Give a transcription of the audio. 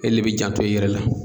E le b'i janto i yɛrɛ la.